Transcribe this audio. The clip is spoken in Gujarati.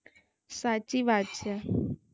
સાચી વાત છે